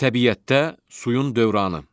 Təbiətdə suyun dövranı.